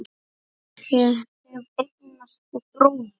Ég hef eignast bróður.